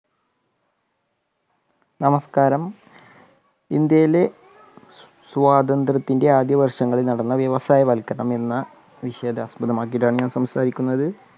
നമസ്കാരം ഇന്ത്യയിലെ സ്വാതന്ത്ര്യത്തിന്റെ ആദ്യവർഷങ്ങളിൽ നടന്ന വ്യവസായവൽക്കരണം എന്ന വിഷയത്തെ ആസ്പദമാക്കിയിട്ടാണ് ഞാന്‍ സംസാരിക്കുന്നത്.